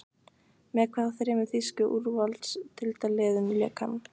Með hvaða þremur þýsku úrvalsdeildarliðum lék hann?